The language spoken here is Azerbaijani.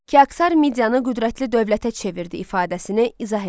Kiaksar Midiyanı qüdrətli dövlətə çevirdi ifadəsini izah eləyin.